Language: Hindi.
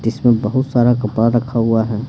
जिसमें बहुत सारा कपड़ा रखा हुआ है।